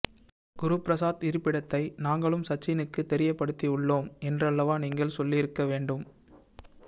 குருபிரசாத் இருப்பிடத்தை நாங்களும் சச்சினுக்கு தெரியபடுத்தி உள்ளோம் என்றல்லவா நீங்கள் சொல்லி இருக்க வேண்டும்